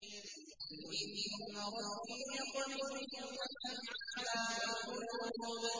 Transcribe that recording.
قُلْ إِنَّ رَبِّي يَقْذِفُ بِالْحَقِّ عَلَّامُ الْغُيُوبِ